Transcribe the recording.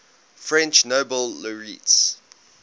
french nobel laureates